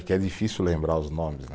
É que é difícil lembrar os nomes, né?